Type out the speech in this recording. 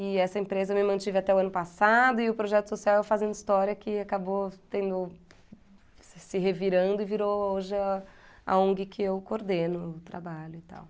E essa empresa me mantive até o ano passado e o projeto social é o Fazendo História, que acabou tendo... se se revirando e virou hoje a Ong que eu coordeno o trabalho e tal.